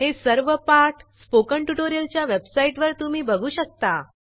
हे सर्व पाठ स्पोकन ट्युटोरियलच्या वेबसाईटवर तुम्ही बघू शकता